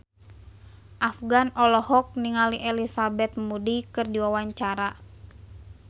Afgan olohok ningali Elizabeth Moody keur diwawancara